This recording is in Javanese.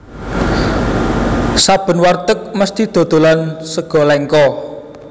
Saben warteg mesthi dodolan Sega Lengko